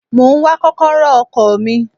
Mo ń wá kọ́kọ́rọ́ ọkọ̀ mi.